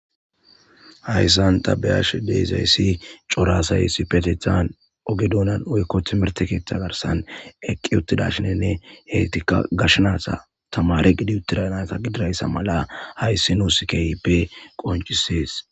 hayssan tabeyash deezayssi corasaysi petethan oge duunan oykko timertekeeththa garsan eqqi uttida shinenne hetika gashnaata tamare gidi uttidanasa gidirayssa mala hayssi nuusikeipe qoncisees